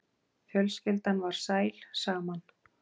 Fjölskyldan var sæl saman.